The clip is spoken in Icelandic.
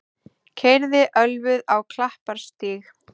Keyrði ölvuð á Klapparstíg